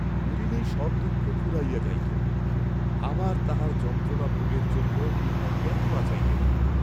মরিলেই সব দুঃখ ফুরাইয়া যাইত, আবার তাহার যন্ত্রণা ভোগের জন্য ইহারা কেন বাঁচাইলেন?